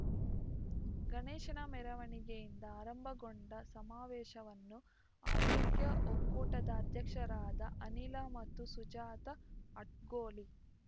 ಗಣೇಶನ ಮೆರವಣಿಗೆಯಿಂದ ಆರಂಭಗೊಂಡ ಸಮಾವೇಶವನ್ನು ಹವ್ಯಕ ಒಕ್ಕೂಟದ ಅಧ್ಯಕ್ಷರಾದ ಅನಿಲ ಮತ್ತು ಸುಜಾತ ಅಡ್ಕೋಳಿ